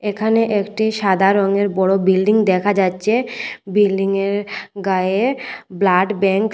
এখানে একটি সাদা রঙের বড় বিল্ডিং দেখা যাচ্ছে বিল্ডিংয়ের গায়ে ব্লাড ব্যাংক --